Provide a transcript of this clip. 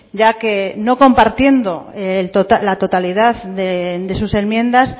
ya que no compartiendo la totalidad de sus enmiendas